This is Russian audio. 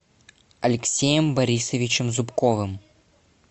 алексеем борисовичем зубковым